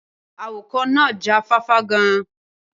Awakọ̀ náà já fáfá gan-an.